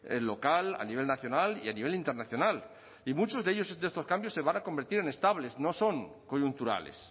local a nivel nacional y a nivel internacional y muchos de estos cambios se van a convertir en estables no son coyunturales